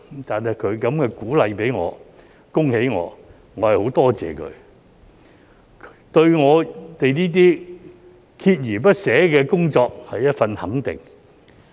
對於他給予我這樣的鼓勵、恭喜我，我很感謝他，這對我們鍥而不捨的工作是一種肯定。